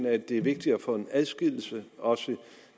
at det er vigtigt at få en adskillelse også